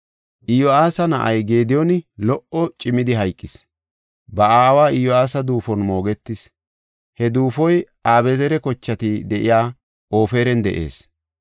Iyo7aasa na7ay Gediyooni lo77o cimidi hayqis; ba aawa Iyo7aasa duufon moogetis. He duufoy Abezeera kochati de7iya Ofiran de7ees.